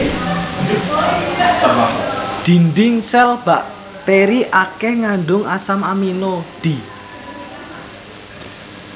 Dhindhing sèl bakteri akèh ngandung asam amino d